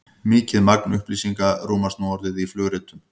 mikið magn upplýsinga rúmast nú orðið í flugritum